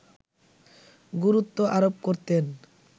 গুরুত্ব আরোপ করতেন